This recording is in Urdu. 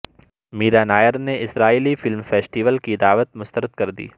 میرا نائر نے اسرائیلی فلم فیسٹول کی دعوت مسترد کر دی